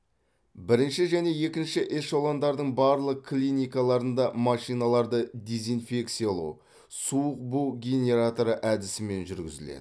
бірінші және екінші эшелондардың барлық клиникаларында машиналарды дезинфекциялау суық бу генераторы әдісімен жүргізіледі